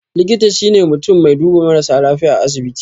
Likita shine mutun mai duba marasa lafiya a asibiti